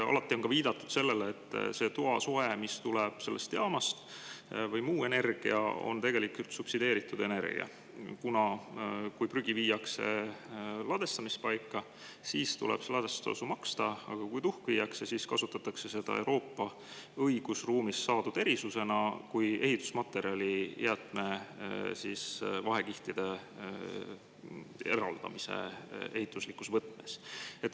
Alati on ka viidatud sellele, et see toasoe või muu energia, mis tuleb sellest jaamast, on tegelikult subsideeritud energia, sest kui ladestuspaika viiakse prügi, siis tuleb ladestustasu maksta, aga kui viiakse tuhk, siis kasutatakse seda Euroopa õigusruumis saadud erisuse alusel kui ehitusmaterjali jäätmete eraldamiseks vahekihtidega.